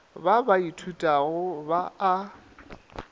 ba ba ithutago ba a